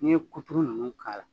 N'i ye kuturu ninnu k'a la.